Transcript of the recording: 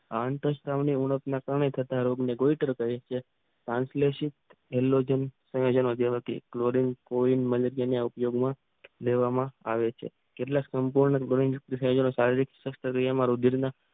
આંતરસ્ત્રાવના ત્રણેય પ્રકાર એતળે ગંગોતર પ્રક્રિયા ત્રનલિસીટ એલ્લોનુંમ અને જેમાં ક્લોરીન ઓયલ મેનેઝિયમ ના ઉપયોગમાં લેવામાં આવે છે. કેટલાક ગુણધર્મો શારીરિક